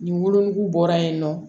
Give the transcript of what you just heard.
Nin wolonugu bɔra yen nɔ